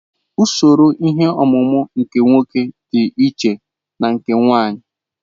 Usoro ihe ọmụmụ nke nwoke dị iche na nke nwanyị.